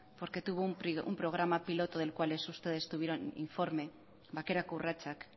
porque tuvo un programa piloto del cual ustedes tuvieron informe bakerako urratsak